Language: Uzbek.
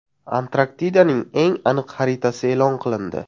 Antarktidaning eng aniq xaritasi e’lon qilindi.